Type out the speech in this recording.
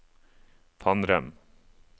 Fannrem